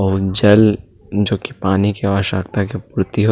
अउ जल जो कि पानी के आवश्यकता के प्रति होत--